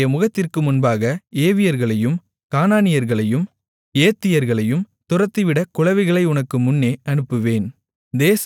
உன்னுடைய முகத்திற்கு முன்பாக ஏவியர்களையும் கானானியர்களையும் ஏத்தியர்களையும் துரத்திவிட குளவிகளை உனக்கு முன்னே அனுப்புவேன்